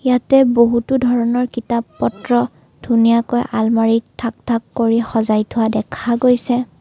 ইয়াতে বহুতো ধৰণৰ কিতাপ পত্ৰ ধুনীয়াকৈ আলমৰিত ঢাক ঢাক কৰি সজাই থোৱা দেখা গৈছে।